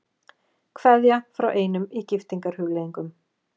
Kveðja frá einum í giftingarhugleiðingum.